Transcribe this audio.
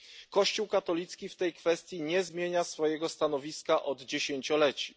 Kościół katolicki w tej kwestii nie zmienia swojego stanowiska od dziesięcioleci.